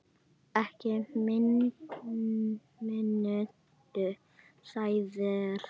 Ekki mínútu síðar